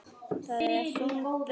Það er þung byrði.